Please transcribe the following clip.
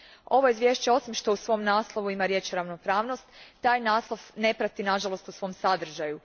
Ovo izvješće osim što u svom naslovu ima riječ ravnopravnost, taj naslov ne prati nažalost po svom sadržaju.